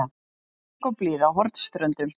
Bongóblíða á Hornströndum.